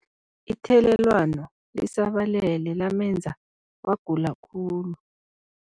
Ithelelwano lisabalele lamenza wagula khulu.